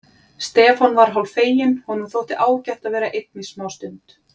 Stefán var hálffeginn, honum þótti ágætt að vera einn í smástund.